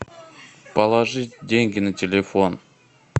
положить деньги на телефон